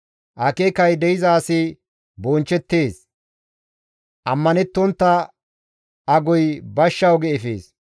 Akeekay de7iza asi bonchchettees; ammanettontta agoy bashsha oge efees.